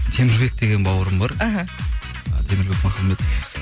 темірбек деген бауырым бар іхі темірбек махамбет